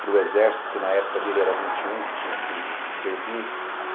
para o exército, porque na época dele era vinte e um que tinha que servir.